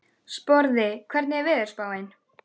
Sporði, hvernig er veðurspáin?